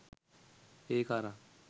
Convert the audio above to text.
ඒක අරං